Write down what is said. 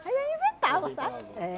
Aí eu inventava, sabe? É.